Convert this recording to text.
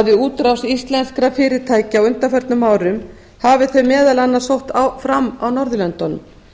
að við útrás íslenskra fyrirtækja á undanförnum árum hafi þeir meðal annars sótt fram á norðurlöndunum